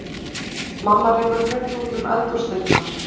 Mamma rekur höfuðið út um eldhúsdyrnar.